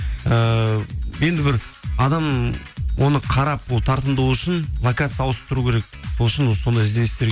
ііі енді бір адам оны қарап ол тартымды болу үшін локация ауысып тұру керек сол үшін сондай ізденістер